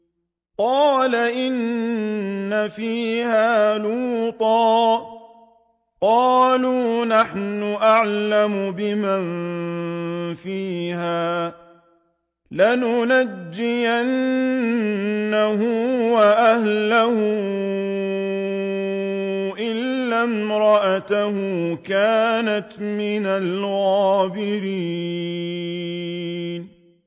قَالَ إِنَّ فِيهَا لُوطًا ۚ قَالُوا نَحْنُ أَعْلَمُ بِمَن فِيهَا ۖ لَنُنَجِّيَنَّهُ وَأَهْلَهُ إِلَّا امْرَأَتَهُ كَانَتْ مِنَ الْغَابِرِينَ